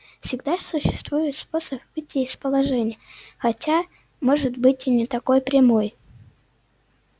всегда существует способ выйти из положения хотя может быть и не такой прямой